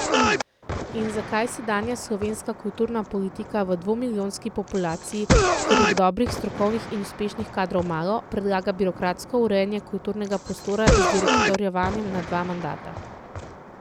In zakaj sedanja slovenska kulturna politika v dvomilijonski populaciji, kjer je dobrih, strokovnih in uspešnih kadrov malo, predlaga birokratsko urejanje kulturnega prostora z direktorovanjem na dva mandata?